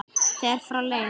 þegar frá leið.